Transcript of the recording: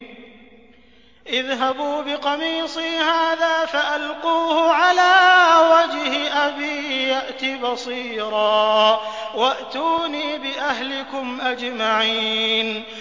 اذْهَبُوا بِقَمِيصِي هَٰذَا فَأَلْقُوهُ عَلَىٰ وَجْهِ أَبِي يَأْتِ بَصِيرًا وَأْتُونِي بِأَهْلِكُمْ أَجْمَعِينَ